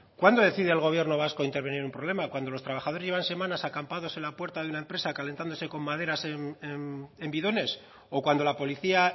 cuándo decide el gobierno vasco intervenir un problema cuando los trabajadores llevan semanas acampados en la puerta de una empresa calentándose con maderas en bidones o cuando la policía